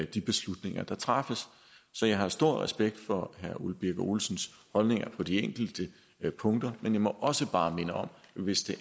de beslutninger der træffes så jeg har stor respekt for herre ole birk olesens holdninger på de enkelte punkter men jeg må også bare minde om at hvis